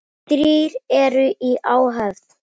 Þrír eru í áhöfn.